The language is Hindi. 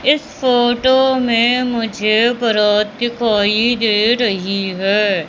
इस फोटो में मुझे बरात दिखाई दे रही है।